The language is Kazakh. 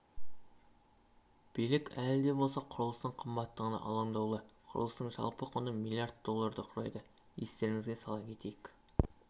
билік әлі де болса құрылыстың қымбаттығына алаңдаулы құрылыстың жалпы құны млрд долларды құрайды естеріңізге сала кетейік